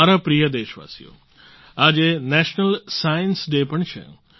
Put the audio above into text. મારા પ્રિય દેશવાસીઓ આજે નેશનલ સાયન્સ ડે પણ છે